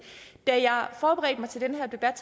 da jeg forberedte mig til den her debat